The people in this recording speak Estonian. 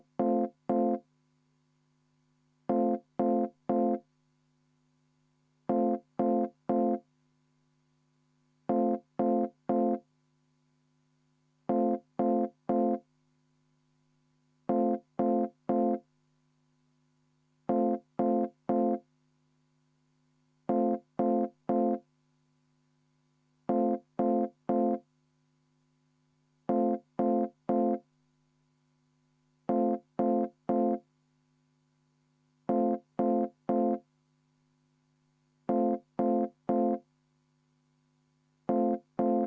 V a h e a e g